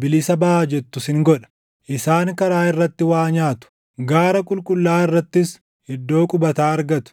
‘Bilisa baʼaa’ jettu sin godha. “Isaan karaa irratti waa nyaatu; gaara qulqullaaʼaa irrattis iddoo qubataa argatu.